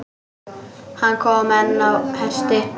Hann kom einn á hesti.